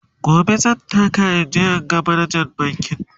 gobe zan taka in je in ga manajan bankin